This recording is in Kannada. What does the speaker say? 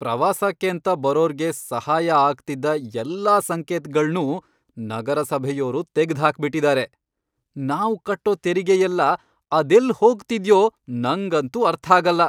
ಪ್ರವಾಸಕ್ಕೇಂತ ಬರೋರ್ಗೆ ಸಹಾಯ ಆಗ್ತಿದ್ದ ಎಲ್ಲಾ ಸಂಕೇತ್ಗಳ್ನೂ ನಗರಸಭೆಯೋರು ತೆಗ್ದ್ಹಾಕ್ಬಿಟಿದಾರೆ. ನಾವು ಕಟ್ಟೋ ತೆರಿಗೆ ಎಲ್ಲ ಅದೆಲ್ಲ್ ಹೋಗ್ತಿದ್ಯೋ ನಂಗಂತೂ ಅರ್ಥಾಗಲ್ಲ.